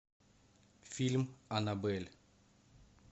фильм аннабель